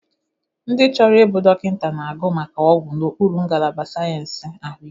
Ndị chọrọ ịbụ dọkịta na-agụ maka ọgwụ n'okpuru ngalaba nke Sayensị Ahụike.